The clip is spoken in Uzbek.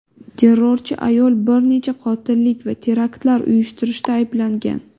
Terrorchi ayol bir nechta qotillik va teraktlar uyushtirishda ayblangan.